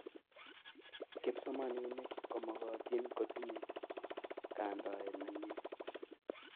kipsomaninik komokotin kotinyei kandoet nemyee